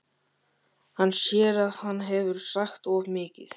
Hann sér að hann hefur sagt of mikið.